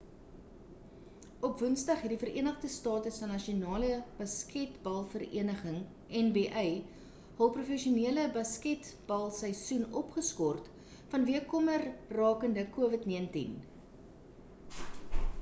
op woensdag het die verenigde state se nasionale basketbalk vereniging nba hul professionele basketbalseisoen opgeskort vanweë kommer rakend covid-19